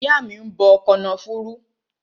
Ìyá mi ń gbe kànáfùrú kana